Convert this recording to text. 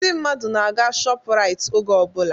Ndị mmadụ na-aga shọpu Rait oge ọbụla